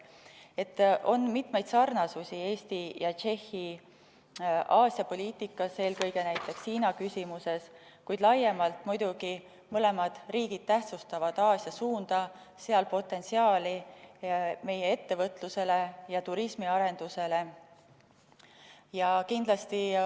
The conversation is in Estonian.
Nii et on mitmeid sarnasusi Eesti ja Tšehhi Aasia poliitikas, eelkõige näiteks Hiina küsimuses, kuid laiemalt muidugi mõlemad riigid tähtsustavad Aasia suunda, sealset potentsiaali meie ettevõtlusele ja turismiarendusele.